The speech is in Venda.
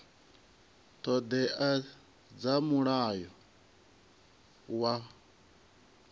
ṱho ḓea dza mulayo wa